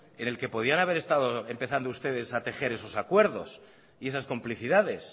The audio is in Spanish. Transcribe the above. en el que podían haber estado empezando ustedes a tejer esos acuerdos y esas complicidades